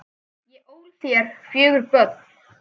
Ég ól þér fjögur börn.